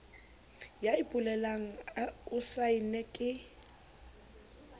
ya ipolelang o saenne ke